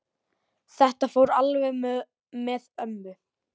Þetta fór alveg með ömmu.